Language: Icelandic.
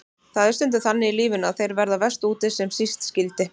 Það er stundum þannig í lífinu að þeir verða verst úti sem síst skyldi.